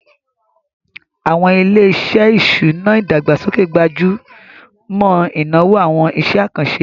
Àwọn ilé-iṣẹ́ ìṣúná ìdàgbàsókè gbájú mọ́ ìnáwó àwọn iṣẹ́ àkànṣe